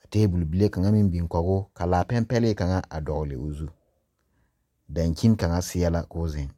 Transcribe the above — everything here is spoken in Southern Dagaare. Ka tabul bile kanga meŋ biŋ kɔg o. Ka a laa pɛpɛliŋ kanga a dogle o zu. Dankyen kanga seɛ la k'o zeŋ.